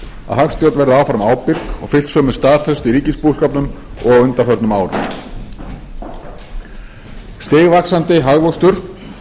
að hagstjórn verði áfram ábyrg og fylgt sömu staðfestu í ríkisbúskapnum og á undanförnum árum stigvaxandi hagvöxtur